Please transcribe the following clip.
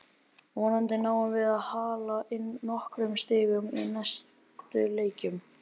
Vonandi náum við að hala inn nokkrum stigum í næstu leikjum.